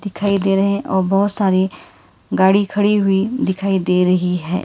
दिखाई दे रहे हैं और बहोत सारे गाड़ी खड़ी हुई दिखाई दे रही है।